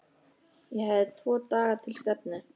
Ég hafði tvo daga til stefnu.